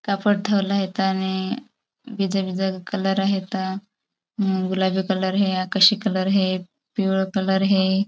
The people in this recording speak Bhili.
कापड़ ठेवला हेता नी बीजा बीजा कलर आहेता गुलाबी कलर हे आकाशी कलर हे पीवळा कलर हे.